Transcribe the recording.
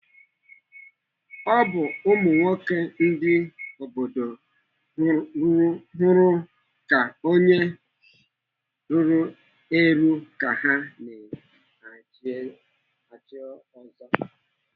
Ọ bụ ụmụnwoke ndị obodo hụrụ ka onye ruru eru ka ha na-echi ọzọ.